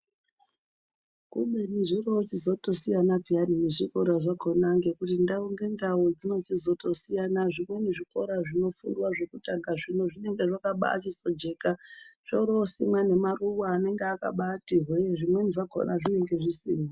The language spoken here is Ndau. Kubeni zvori wochizoto siyana peyani ne zvikora zvakona ngekuti ndau nge ndau dzino chizoto siyana zvimweni zvikora zvino fundwa zvekutanga zvino zvinenge zvakabai sizo jeka zvori wosimwa ne maruva anenge akabaiti hwe zvimweni zvakona zvinenge zvisina.